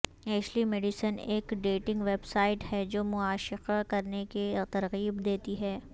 Ashley Madison ایک dating website ہے جو معاشقہ کرنے کی ترغیب دیتی ہے